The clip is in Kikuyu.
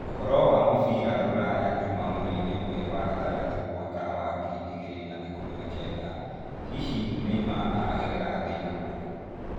Ũhoro wa mũbira rũraya juma mweri ĩmwe wa gatandatũ mwaka wa wa ngiri igĩrĩ na ikũmi na kenda: hihi Neymar aragerera thĩna ũrĩkũ